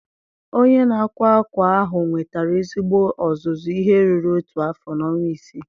Onye na-akwa akwa ahụ nwetara ezigbo ọzụzụ ihe ruru otu afọ na ọnwa isii.